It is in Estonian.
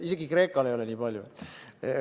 Isegi Kreekal ei ole nii palju.